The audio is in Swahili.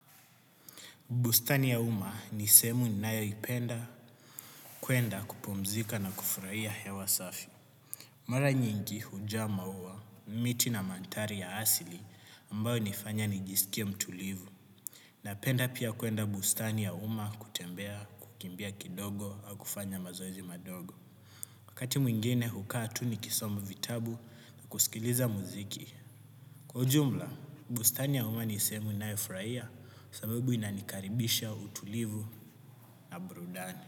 Bustani ya uma ni sehemu ninayoipenda kuenda kupumzika na kufurahia hewa safi. Mara nyingi hujaa maua, miti na mantari ya asili ambayo hunifanya nijisikie mtulivu. Napenda pia kuenda bustani ya uma kutembea, kukimbia kidogo, au kufanya mazoezi madogo. Wakati mwingine hukaa tu nikisoma vitabu na kusikiliza muziki. Kwa ujumla, bustani ya uma ni sehemu nayoifurahia sababu inanikaribisha utulivu na burudani.